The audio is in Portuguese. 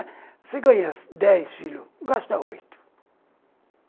Você ganha dez, filho, gasta oito.